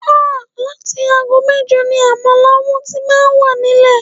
Áà!! Láti aago mẹ́jọ ni àmàlà wọn tí máa wà nílẹ̀